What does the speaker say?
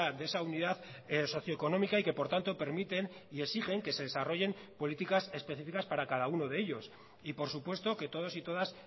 de esa unidad socioeconómica y que por tanto permiten y exigen que se desarrollen políticas específicas para cada uno de ellos y por supuesto que todos y todas